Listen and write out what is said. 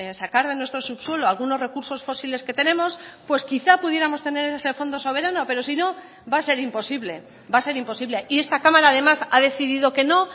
sacar de nuestro subsuelo algunos recursos fósiles que tenemos pues quizá pudiéramos tener ese fondo soberano pero si no va a ser imposible va a ser imposible y esta cámara además ha decidido que no